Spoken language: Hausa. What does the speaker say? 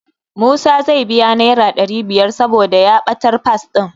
Musa zai biya Naira ɗari biyar saboda ya ɓatar Fas ɗin.